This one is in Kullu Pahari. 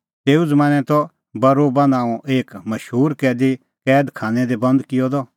तेऊ ज़मानैं त बरोबा नांओं एक मशूर कैदी कैद खानै दी बंद किअ द